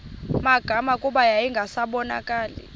magama kuba yayingasabonakali